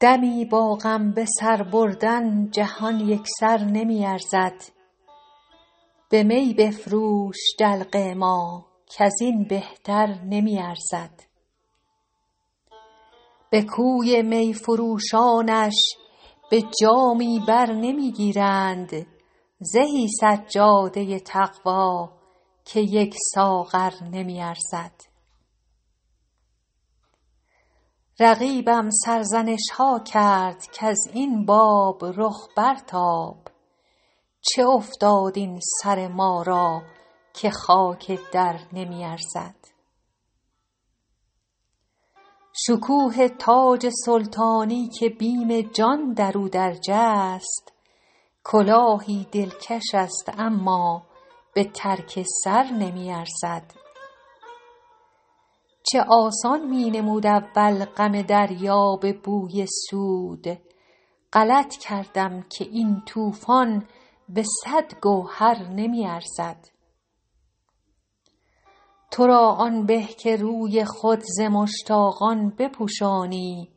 دمی با غم به سر بردن جهان یک سر نمی ارزد به می بفروش دلق ما کز این بهتر نمی ارزد به کوی می فروشانش به جامی بر نمی گیرند زهی سجاده تقوا که یک ساغر نمی ارزد رقیبم سرزنش ها کرد کز این باب رخ برتاب چه افتاد این سر ما را که خاک در نمی ارزد شکوه تاج سلطانی که بیم جان در او درج است کلاهی دلکش است اما به ترک سر نمی ارزد چه آسان می نمود اول غم دریا به بوی سود غلط کردم که این طوفان به صد گوهر نمی ارزد تو را آن به که روی خود ز مشتاقان بپوشانی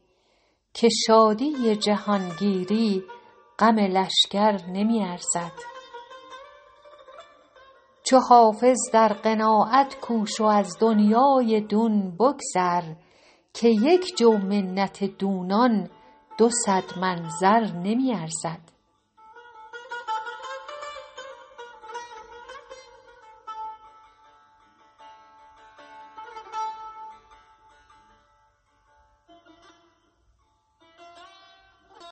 که شادی جهانگیری غم لشکر نمی ارزد چو حافظ در قناعت کوش و از دنیای دون بگذر که یک جو منت دونان دو صد من زر نمی ارزد